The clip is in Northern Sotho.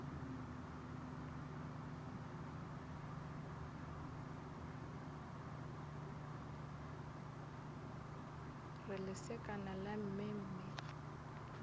re lesekana la mme mme